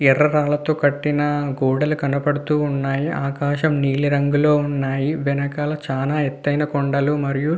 ఎర్ర రంగు తో కట్టిన గొడ్లు కనబడుతూ వున్నాయ్ ఆకాశం నిలం రంగు లో వుంది వెనుకల చాల ఎతైన కొండల్లు మరియు --